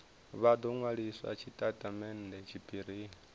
vha do nwalisa tshitatamennde tshiphirini